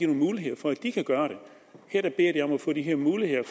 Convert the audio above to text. muligheder for at de kan gøre det her beder de om at få de her muligheder